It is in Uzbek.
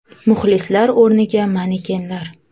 Muxlislar o‘rniga manekenlar.